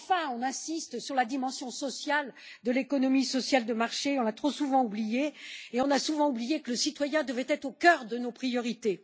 On insiste enfin sur la dimension sociale de l'économie sociale de marché, qu'on a trop souvent oubliée, comme on a souvent oublié que le citoyen devait être au cœur de nos priorités.